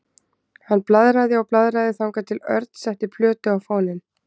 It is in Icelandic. Hann blaðraði og blaðraði þangað til Örn setti plötu á fóninn.